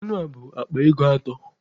Anụ a bụ akpa ego atọ.